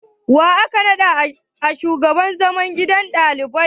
Wa aka naɗa shugaban gidan zaman ɗalibai?